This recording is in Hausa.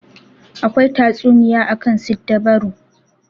Akwai tatsuniya akan siddabaru.